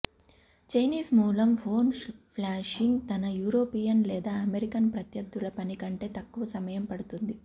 Chinese మూలం phone flashing తన European లేదా అమెరికన్ ప్రత్యర్ధుల పని కంటే తక్కువ సమయం పడుతుంది